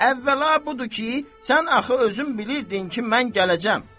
Əvvəla budur ki, sən axı özün bilirdin ki, mən gələcəm.